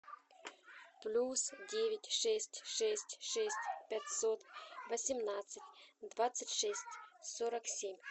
плюс девять шесть шесть шесть пятьсот восемнадцать двадцать шесть сорок семь